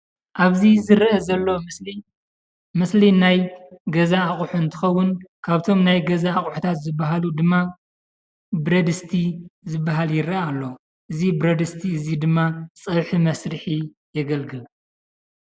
ኣብዚ ዝርአ ዘሎ ምስሊ ምስሊ ናይ ገዛ ኣቑሑ እንትኸውን ካብቶም ናይ ገዛ ኣቑሑ ዝበሃሉ ድማ ብረድስቲ ዝበሃል ይርአ ኣሎ፡፡ እዚ ብረድስቲ ድማ ፀብሒ መስርሒ የገልግል፡፡